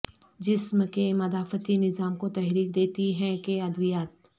جسم کے مدافعتی نظام کو تحریک دیتی ہیں کہ ادویات